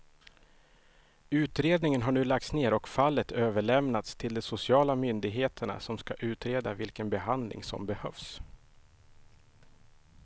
Utredningen har nu lagts ner och fallet överlämnats till de sociala myndigheterna som ska utreda vilken behandling som behövs.